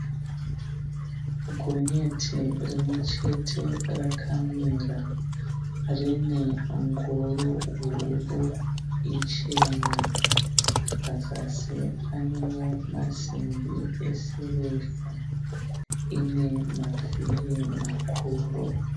Gonyeti rimwe chete rakamira, rine ngoro huru ichena, pazasi panewo maimbi esirivha, ine mavhiri makuru.